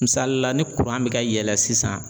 Misalila ni mɛ ka yɛlɛ sisan